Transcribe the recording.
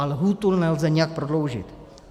A lhůtu nelze nijak prodloužit.